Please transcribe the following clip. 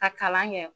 Ka kalan kɛ